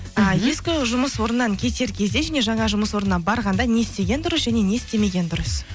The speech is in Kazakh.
і ескі жұмыс орнынан кетер кезде және жаңа жұмыс орнына барғанда не істеген дұрыс және не істемеген дұрыс